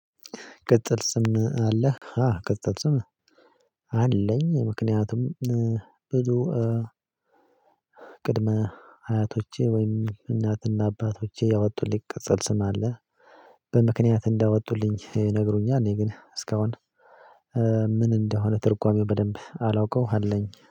ቅጽል ስም አለህ? አዎ ቅጽል ስም አለኝ። ምክንያቱም ብዙ ቅድመ አያቶቼ ወይም እናትና አባቶቼ ያወጡልኝ ቅጸል ስም አለ በምክንያት እንዳወጡልኝ ይነግሩኛል። እኔ ግን እስካሁን ምን እንደሆነ ትርጓሜው በደንብ አላውቀው አለኝ